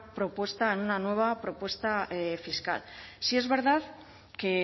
propuesta en una nueva propuesta fiscal sí es verdad que